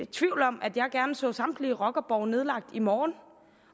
tvivl om at jeg gerne så samtlige rockerborge nedlagt i morgen